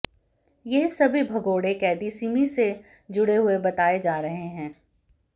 यह सभी भगोड़े क़ैदी सिमी से जुड़े हुए बताए जा रहे हैं